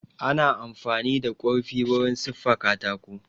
Ana amfani da kurfi wurin siffa katako